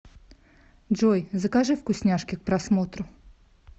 джой закажи вкусняшки к просмотру